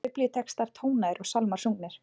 Þar voru biblíutextar tónaðir og sálmar sungnir.